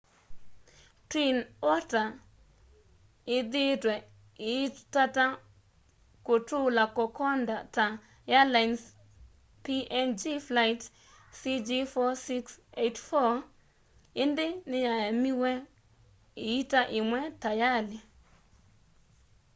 twin otter ĩthĩĩtwe ĩitata kũtũũla kokoda ta airlines png flight cg4684 ĩndĩ nĩyaemiwe ĩita ĩmwe tayalĩ